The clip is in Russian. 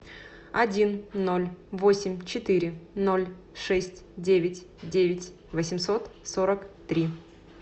один ноль восемь четыре ноль шесть девять девять восемьсот сорок три